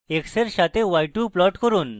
x এর সাথে y2 plot করুন